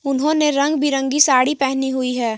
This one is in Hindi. उन्होंने रंग बिरंगी साड़ी पहनी हुई है।